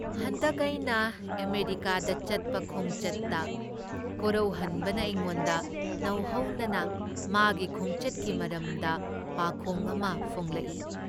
ꯍꯟꯗꯛ ꯑꯩꯅ ꯑꯃꯦꯔꯤꯀꯥꯗ ꯆꯠꯄ ꯈꯣꯡꯆꯠꯇ ꯀꯣꯔꯧꯍꯟꯕꯅ ꯑꯩꯉꯣꯟꯗ ꯅꯧꯍꯧꯅ ꯃꯥꯒꯤ ꯈꯣꯡꯆꯠꯀꯤ ꯃꯔꯝꯗ ꯄꯥꯈꯣꯡ ꯑꯃ ꯐꯣꯡꯂꯛꯏ ꯫